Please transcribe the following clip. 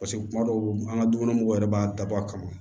Paseke kuma dɔw an ka dukɔnɔmɔgɔw yɛrɛ b'a dabɔ a kama